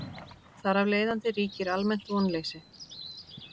Þar af leiðandi ríkir almennt vonleysi.